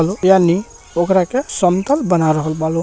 हो लो यानि ओकरा के समतल बना रहल बा।